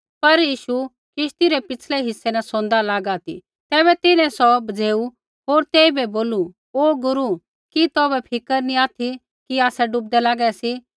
पर यीशु किश्ती रै पिछ़लै हिस्सै न सोंदा लागा ती तैबै तिन्हैं सौ बझ़ेऊ होर तेइबै बोलू ओ गुरू कि तौभै फिक्र नी ऑथि कि आसै डूबदै लागै सी